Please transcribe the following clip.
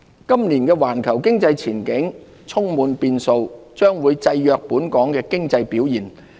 今年的環球經濟前景充滿變數，將會制約本港經濟表現。